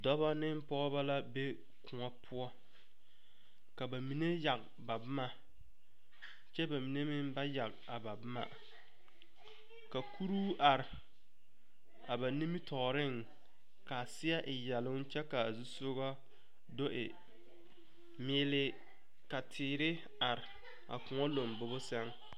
Dɔbɔ ne pɔgɔbɔ la be koɔ poʊ. Ka ba mene yage ba boma kyɛ ba mene meŋ ba yage a ba boma. Ka kuro are a ba nimitooreŋ kaa seɛ e yɛluŋ kyɛ ka a zusɔgo do e miili. Ka teere are a koɔ lombɔge seŋ.